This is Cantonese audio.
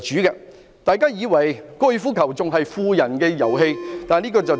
如果大家以為高爾夫球仍然是富人的遊戲，那便錯誤了。